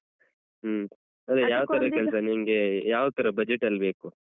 ಹ್ಮ ಸರಿ ಯಾವ ತರ ಕೆಲ್ಸ ನಿಮ್ಗೆ, ಯಾವ್ ತರ budget ಅಲ್ ಬೇಕು?